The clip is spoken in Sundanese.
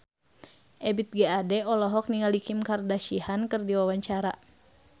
Ebith G. Ade olohok ningali Kim Kardashian keur diwawancara